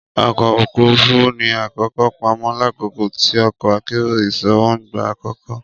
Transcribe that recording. Ọkọ ofurufu fi akoko pamọ lakoko ti ọkọ akero iṣowo n gba akoko.